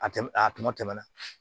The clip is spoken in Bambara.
A tɛmɛn a tɛmɛ na